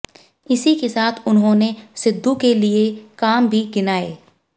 इसी के साथ उन्होंने सिद्धू के लिए काम भी गिनाए